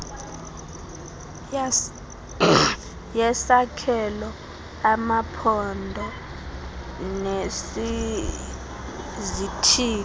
yesakhelo amaphondo nesizithili